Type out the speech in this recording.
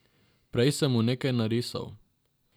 Prej sem mu nekaj narisal.